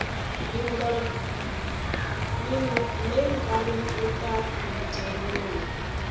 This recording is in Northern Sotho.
le nkareng o tla ntemela